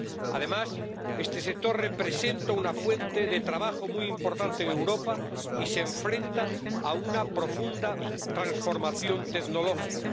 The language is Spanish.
Además, este sector representa una fuente de trabajo muy importante en Europa y se enfrenta a una profunda transformación tecnológica.